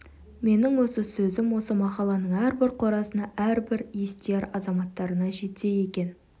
менің осы сөзім осы махалланың әрбір қорасына әрбір естияр азаматтарына жетсе екен